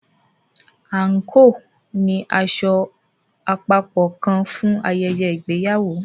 anko ní aṣọ àpapọ kán fún ayẹyẹ ìgbéyàwó.